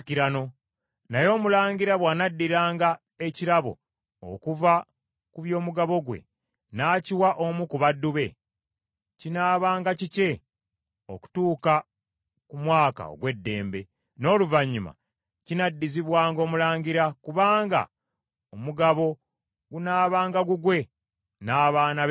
Naye omulangira bw’anaddiranga ekirabo okuva ku by’omugabo gwe n’akiwa omu ku baddu be, kinaabanga kikye okutuuka ku mwaka ogw’eddembe, n’oluvannyuma kinaddizibwanga omulangira kubanga omugabo gunaabanga gugwe n’abaana be bokka.